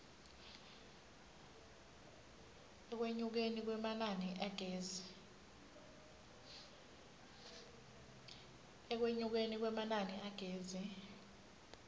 ekwenyukeni kwemanani agezi